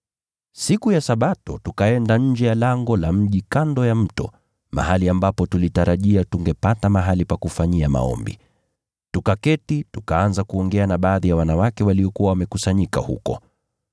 Siku ya Sabato tukaenda nje ya lango la mji kando ya mto, mahali ambapo tulitarajia tungepata mahali pa kufanyia maombi. Tukaketi, tukaanza kuongea na baadhi ya wanawake waliokuwa wamekusanyika huko.